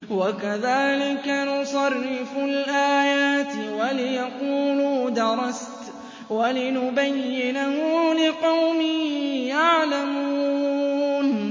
وَكَذَٰلِكَ نُصَرِّفُ الْآيَاتِ وَلِيَقُولُوا دَرَسْتَ وَلِنُبَيِّنَهُ لِقَوْمٍ يَعْلَمُونَ